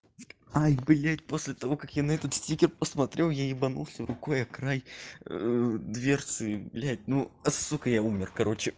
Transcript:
ай блядь после того как я на этот стикер посмотрел я ебанулся рукой о край дверцы блядь ну а сука я умер короче